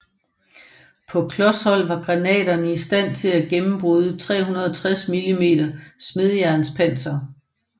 På klos hold var granaterne i stand til at gennembryde 360 mm smedejernspanser